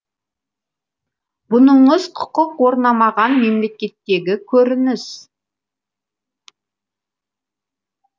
бұныңыз құқық орнамаған мемлекеттегі көрініс